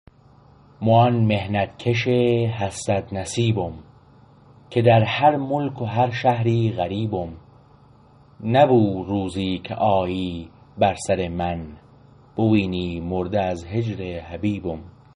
مو آن محنت کش حسرت نصیبم که در هر ملک و هر بومی غریبم نبو روزی که آیی بر سر من بوینی مرده از هجر حبیبم